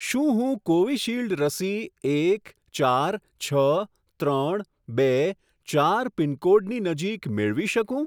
શું હું કોવિશીલ્ડ રસી એક ચાર છ ત્રણ બે ચાર પિનકોડની નજીક મેળવી શકું?